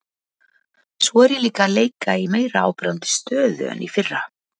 Svo er ég líka að leika í meira áberandi stöðu en í fyrra.